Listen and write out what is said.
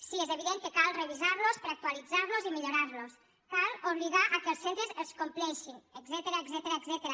sí és evident que cal revisar los per actualitzar los i millorar los cal obligar que els centres els compleixin etcètera